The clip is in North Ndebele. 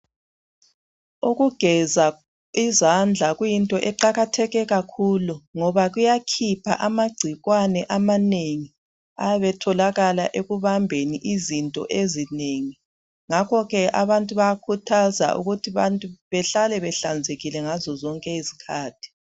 Ukugeza izandla kuyinto eqakatheke kakhulu ngoba kuyakhipha amagcikwane amanengi atholakala ekubambeni izinto ezinengi ngakho abantu bayakhuthazwa abantu ukuthi behlale behlanzekile ngazo zonke izikhathi.